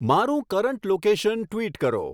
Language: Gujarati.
મારું કરંટ લોકેશન ટ્વિટ કરો